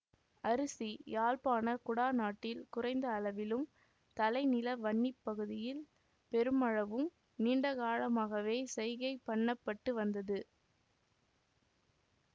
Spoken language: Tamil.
அரிசி யாழ்ப்பாண குடாநாட்டில் குறைந்த அளவிலும் தலை நில வன்னி பகுதியில் பெருமளவும் நீண்டகாலமாகவே செய்கை பண்ணப்பட்டு வந்தது